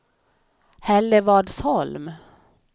Hällevadsholm